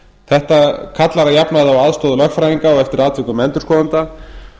þetta kallar að jafnaði á aðstoð lögfræðinga og eftir atvikum endurskoðenda